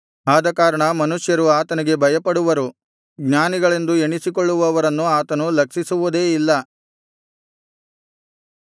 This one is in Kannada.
ಆದಕಾರಣ ಮನುಷ್ಯರು ಆತನಿಗೆ ಭಯಪಡುವರು ಜ್ಞಾನಿಗಳೆಂದು ಎಣಿಸಿಕೊಳ್ಳುವವರನ್ನು ಆತನು ಲಕ್ಷಿಸುವುದೇ ಇಲ್ಲ